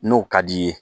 N'o ka d'i ye